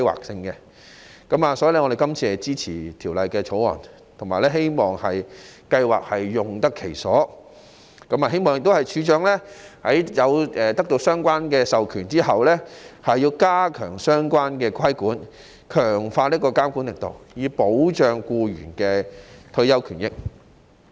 所以，我們支持《條例草案》，希望職業退休計劃用得其所，並希望處長得到相關授權後，加強相關規管、強化監管力度，以保障僱員的退休權益。